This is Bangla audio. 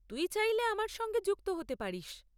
তুই চাইলে আমার সঙ্গে যুক্ত হতে পারিস।